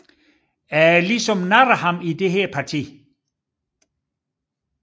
Jeg ligesom narrede ham i dette parti